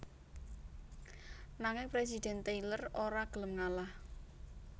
Nanging Presiden Tyler ora gelem ngalah